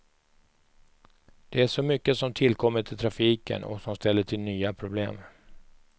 Det är så mycket som tillkommit i trafiken, och som ställer till nya problem.